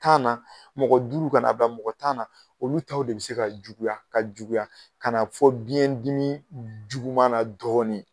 Tan na mɔgɔ duuru kan'a bila mɔgɔ tan na, olu taw de bi se ka juguya ka juguya kana fɔ biyɛn dimi juguman na dɔɔni.